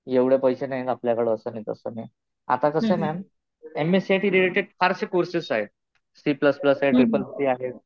एवढे पैशे नाहीत आपल्याकडं असं नाही तसं नाही. आता कसं आहे ma'am, M S C I T related फारसे कोर्सेस आहेत. सी प्लस प्लस आहे. ट्रिपल सी आहे.